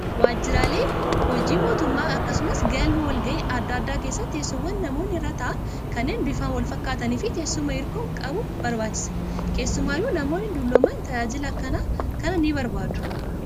Waajjiraalee hojii mootummaa akkasumas galma wal gahii adda addaa keessatti teessoowwan namoonni irra taa'an kanneen bifaan wal fakkaatanii fi teessuma hirkoo qabu barbaachisa. Keessumaayyuu namoonni dullooman tajaajila akkanaa kana ni barbaadu.